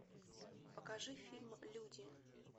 покажи фильм люди